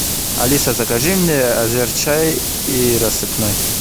алиса закажи мне азерчай и рассыпной